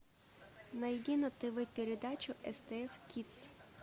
найди на тв передачу стс кидс